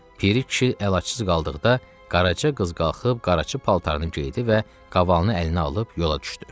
Piri kişi əlacıız qaldıqda Qaraca qız qalxıb qaraçı paltarını geydi və qavalını əlinə alıb yola düşdü.